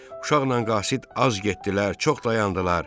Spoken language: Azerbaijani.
Uşaqla qasid az getdilər, çox dayandılar.